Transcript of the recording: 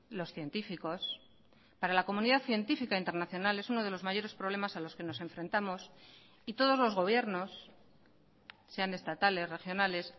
los científicos para la comunidad científica internacional es uno de los mayores problemas a los que nos enfrentamos y todos los gobiernos sean estatales regionales